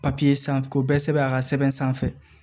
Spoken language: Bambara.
papiye sanfɛ k'o bɛɛ sɛbɛn a ka sɛbɛn sanfɛ